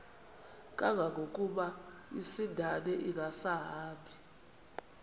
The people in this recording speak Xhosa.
kangangokuba isindane ingasahambi